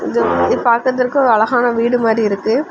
இது பார்கர்துக்கு ஒரு அழகான வீடு மாறி இருக்கு.